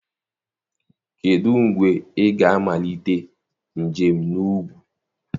Kedụ mgbe ị ga-amalite njem na ugwu?